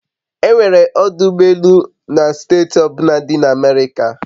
E nwere ọdụ ụgbọ elu na steeti ọ bụla dị na America